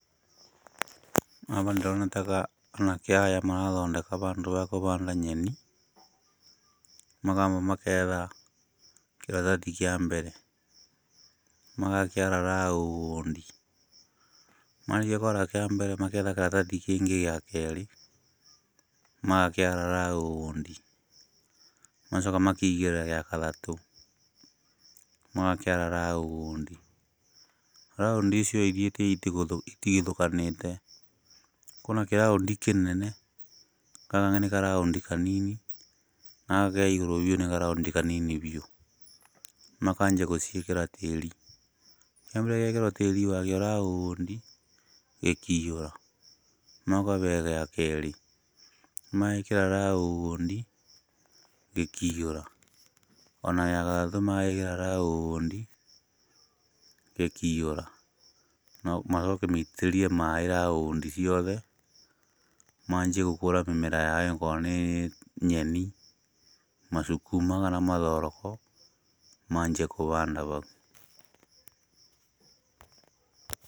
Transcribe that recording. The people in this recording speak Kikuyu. Haha ndĩrona ta anake aya marathondeka handũ ha kũhanda nyeni. Makamba magetha kĩratathi kĩa mbere magakĩara raũndi, marĩkia kwara kĩa mbere magetha kĩratathi kĩngĩ gĩa kerĩ, magakĩara raũndi magacoka makaigĩrĩra gĩa gatatũ magakĩara raũndi. Raũndi icio ithiĩte itigithũkanĩte, kwĩna kĩraũndi kĩnene, gaka nĩ karaũndi kanini na gaka karĩ igũrũ biũ nĩ karaũndi kanini biũ. Makambia gũciĩkĩra tĩri, kĩambere gĩgekĩrwo raũndi nginya gĩkaihũra, magacoka gĩa kerĩ magekĩra raũndi gĩkaihũra ona gĩa gatatũ magagĩkĩra raũndi gĩkaihũra. Macoke maitĩrĩrie maaĩ raũndi ciothe maambie gũkũria mĩmera yao akoro nĩ nyeni, masukuma kana mathoroko manjie kũhanda hau.